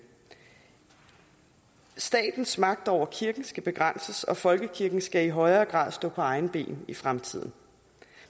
statens magt over kirken skal begrænses og folkekirken skal i højere grad stå på egne ben i fremtiden